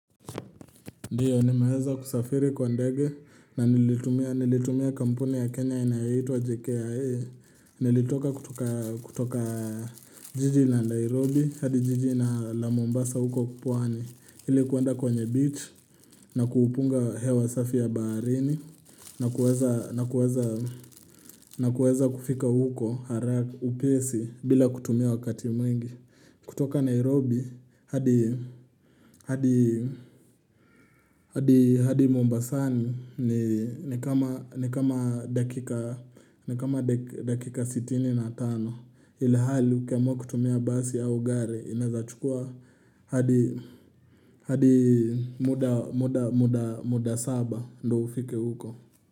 Ndiyo ni maweza kusafiri kwa ndege na nilitumia kampuni ya Kenya inayaitwa JKA Nilitoka kutoka jiji na Nairobi hadi jiji na la Mombasa huko pwani Ili kuande kwenye beach na kuupunga hewa safi ya baharini na kuweza kufika huko haraka, upesi bila kutumia wakati mwingi kutoka Nairobi hadi Mombasani ni kama dakika 65 ilihali ukiamwa kutumia basi au gare inawezachukua hadii hadi muda saba ndo ufike huko.